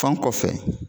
Fan kɔfɛ